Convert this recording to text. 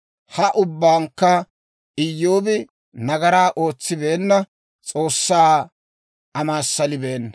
Ha ubbankka Iyyoobi nagaraa ootsibeenna; S'oossaa amaassalibeenna.